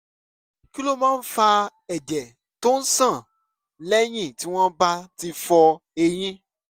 kí ló máa ń fa ẹ̀jẹ̀ tó ń ṣàn lẹ́yìn tí wọ́n bá ti fọ eyín?